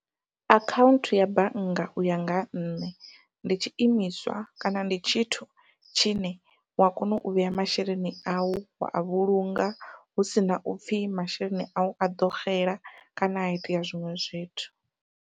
Akhaunthu ya bannga uya nga ha nṋe, ndi tshiimiswa kana ndi tshithu tshine wa kona u vhea masheleni au wa a vhulunga husina upfhi masheleni au a ḓo xela kana ha itea zwiṅwe zwithu.